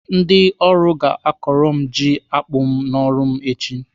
Ndị ọrụ ga-akọrọ m ji akpụ n'ọrụ m echi.